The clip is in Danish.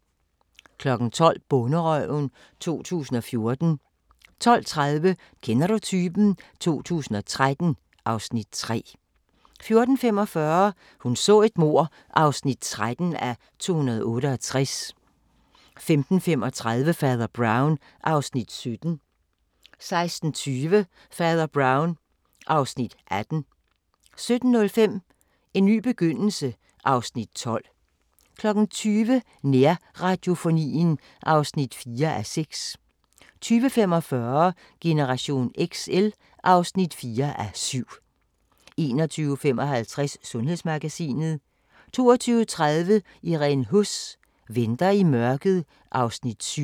12:00: Bonderøven 2014 12:30: Kender du typen? 2013 (Afs. 3) 14:45: Hun så et mord (13:268) 15:35: Fader Brown (Afs. 17) 16:20: Fader Brown (Afs. 18) 17:05: En ny begyndelse (Afs. 12) 20:00: Nærradiofonien (4:6) 20:45: Generation XL (4:7) 21:55: Sundhedsmagasinet 22:30: Irene Huss: Venter i mørket (Afs. 7)